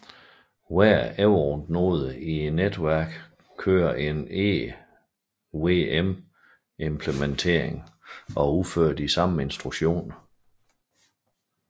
Hver Ethereum node i netværket køre en EVM implementering og udfører de samme instruktioner